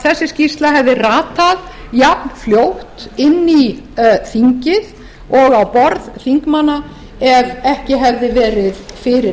þessi skýrsla hefði ratað jafnfljótt inn í þingið og á borð þingmanna ef ekki hefði verið fyrir